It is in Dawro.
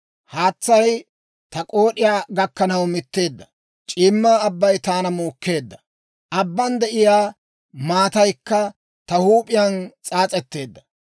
«Haatsay taw k'ood'iyaa gakkanaw mitteedda; c'iimma abbay taana muukkeedda; abban de'iyaa maataykka ta huup'iyaan s'aas'etteedda.